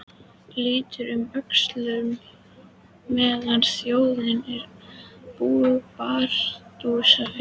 Lítur um öxl meðan þjónninn er að bardúsa fyrir hann.